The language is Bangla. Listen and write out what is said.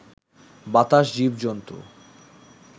বাতাস, জীব-জন্তু